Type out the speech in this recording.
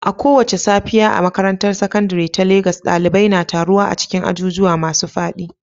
A kowace safiya a makarantar sakandare ta Legas, ɗalibai na taruwa a cikin ajujuwa masu faɗi